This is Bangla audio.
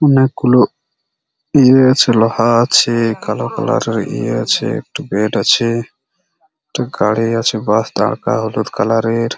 অনেক গুলো ইয়ে আছে লোহা আছে কালো কালার -এর ইয়ে আছে একটু বেড আছে একটা গাড়ি আছে বাস দাঁড় কা হলুদ কালার এর--